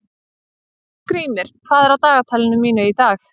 Skrýmir, hvað er á dagatalinu mínu í dag?